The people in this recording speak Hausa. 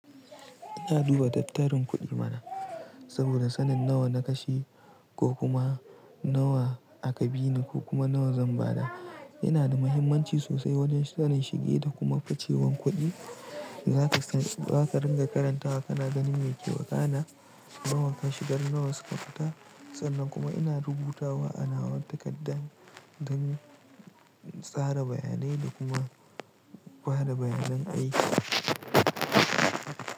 Ya duba tattarin kuɗi mana saboda sanin nawa na kashe ko kuma nawa aka bi ni ko kuma nawa zan ba da yana da mahimmanci sosai wajen sanin shige da kuma facewan kuɗi. Za ka ringa karantawa kana ganin me ke wakana, nawa ka shigar nawa suka fita. Sannan kuma ina rubutawa a nawa takarda don tsara bayanai da kuma bada bayanan aiki.